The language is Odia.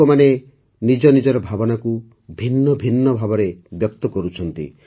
ଲୋକମାନେ ନିଜ ନିଜର ଭାବନାକୁ ଭିନ୍ନ ଭିନ୍ନ ଭାବରେ ବ୍ୟକ୍ତ କରୁଛନ୍ତି